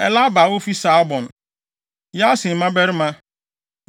Eliahba a ofi Saalbon; Yaasen mmabarima;